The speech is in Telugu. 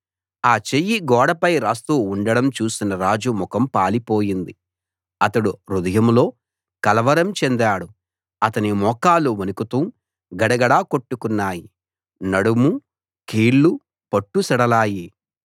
ఆ చెయ్యి గోడపై రాస్తూ ఉండడం చూసిన రాజు ముఖం పాలిపోయింది అతడు హృదయంలో కలవరం చెందాడు అతని మోకాళ్ళు వణుకుతూ గడగడ కొట్టుకున్నాయి నడుము కీళ్లు పట్టు సడలాయి